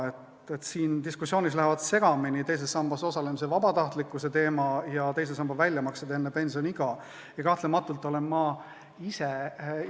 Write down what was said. Selles diskussioonis lähevad segamini teises sambas osalemise vabatahtlikkuse teema ja teisest sambast enne pensioniiga tehtavate väljamaksete teema.